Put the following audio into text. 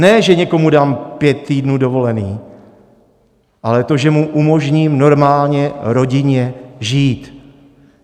Ne že někomu dám pět týdnů dovolené, ale to, že mu umožním normálně rodinně žít.